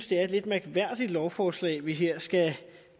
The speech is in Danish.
det er et lidt mærkværdigt lovforslag vi her skal